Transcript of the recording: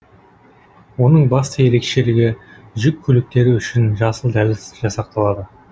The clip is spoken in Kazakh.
оның басты ерекшелігі жүк көліктері үшін жасыл дәліз жасақталады